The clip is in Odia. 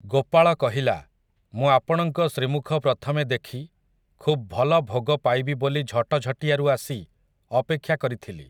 ଗୋପାଳ କହିଲା, ମୁଁ ଆପଣଙ୍କ ଶ୍ରୀମୁଖ ପ୍ରଥମେ ଦେଖି ଖୁବ୍ ଭଲ ଭୋଗ ପାଇବି ବୋଲି ଝଟଝଟିଆରୁ ଆସି ଅପେକ୍ଷା କରିଥିଲି ।